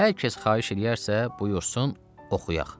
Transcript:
Hər kəs xahiş eləyərsə, buyursun oxuyaq.